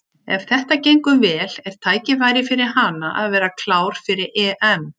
Ef þetta gengur vel er tækifæri fyrir hana að verða klár fyrir EM.